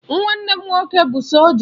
Nwanne m nwoke bụ sọlja